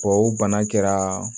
Tubabu bana kɛra